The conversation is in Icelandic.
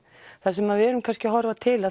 það sem við erum kannski að horfa til